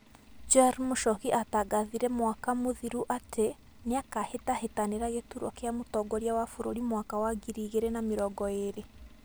Joel Muchoki atangathire mwaka mũthiru atĩ nĩakahĩtahĩtanira gĩturwa kĩa mũtongoria wa bũrũri mwaka wa ngiri igĩrĩ na mĩrongo ĩrĩ.